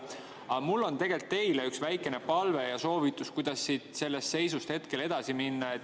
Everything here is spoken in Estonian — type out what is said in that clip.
Aga mul on teile üks väikene palve ja soovitus, kuidas sellest seisust hetkel edasi minna.